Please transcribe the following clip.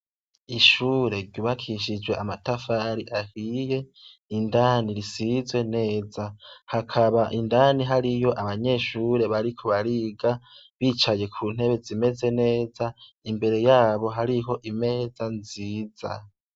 Ishure ryubakishijwe amatafari ahiye indani risize neza hakaba indani hari abanyeshure bariko bariga bicaye kuntebe zimeze neza imbere yabo hari imeza nziza